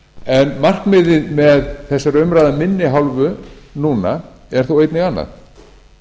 en markmiðið með þessari umræðu af minni hálfu núna er þó einnig annað